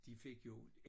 De fik jo